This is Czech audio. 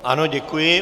Ano, děkuji.